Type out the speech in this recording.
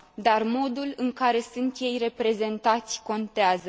Dar modul în care ei sunt reprezentați contează.